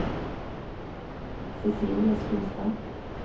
Cicilie Skulstad